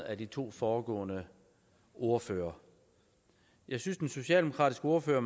af de to foregående ordførere jeg synes den socialdemokratiske ordfører